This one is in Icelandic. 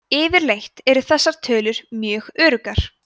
yfirleitt eru þessar tölur mjög öruggar